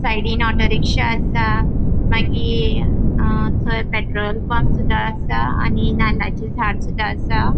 साइडीन auto rickshaw आसा मागिर अ थय पेट्रोल पंपसुदा आसा आणि नाल्लाचे झाड्सुद्धा आसा.